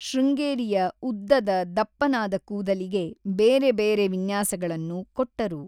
ಶೃಂಗೇರಿಯ ಉದ್ದದ, ದಪ್ಪನಾದ ಕೂದಲಿಗೆ ಬೇರೆ ಬೇರೆ ವಿನ್ಯಾಸಗಳನ್ನು ಕೊಟ್ಟರು.